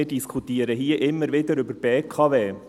Wir diskutieren hier immer wieder über die BKW.